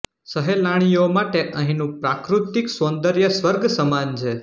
સહેલાણીઓ માટે અહીંનું પ્રાકૃતિક સૌંદર્ય સ્વર્ગ સમાન છે